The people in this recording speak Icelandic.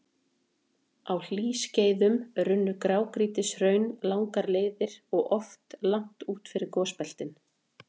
Á hlýskeiðum runnu grágrýtishraun langar leiðir og oft langt út fyrir gosbeltin.